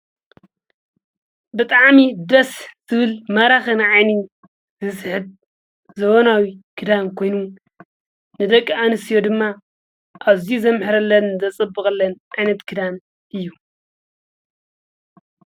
ብጥዓሚ ደስ ዝብል ማራኽን ንዓኒ ዝስሕብ ዘበናዊ ክዳን ኮይኑ ንደቂ ኣንስትዮ ድማ ኣዝዩ ዘምሕረለን ዘጽብቐለን ዓይነት ክዳን እዩ።